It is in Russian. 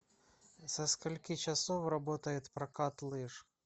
со скольки часов работает прокат лыж